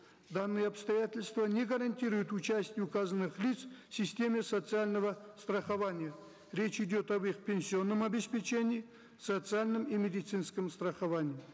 данные обстоятельства не гарантируют участие указанных лиц в системе социального страхования речь идет об их пенсионном обеспечении социальном и медицинском страховании